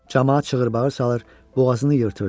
Camaat çığırbağır salır, boğazını yırtırdı.